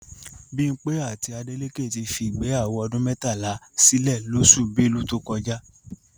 Bímpé àti Adélékè ti fi ìgbéyàwó ọdún mẹ́tàlá sílè lóṣù Belu tó kọjá